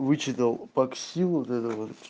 вычитал попсу вот это вот